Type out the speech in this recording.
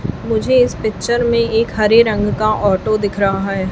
मुझे इस पिक्चर में एक हरे रंग का ऑटो दिख रहा है।